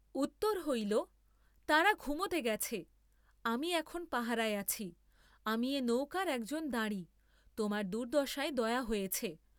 উত্তর হইল তারা ঘুমোতে গেছে, আমি এখন পাহারায় আছি, আমি এ নৌকার একজন দাঁড়ি, তোমার দুর্দ্দশায় দয়া হয়েছে।